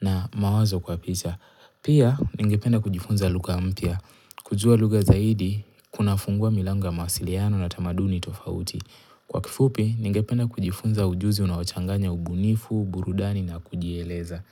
na mawazo kwa picha. Pia, ningependa kujifunza lugha mpya. Kujua lugha zaidi, kunafungua milango ya masiliano na tamaduni tofauti. Kwa kifupi, ningependa kujifunza ujuzi unaochanganya ubunifu, burudani na kujieleza.